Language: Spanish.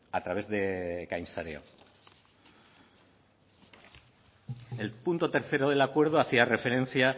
a través de el punto tercero del acuerdo hacía referencia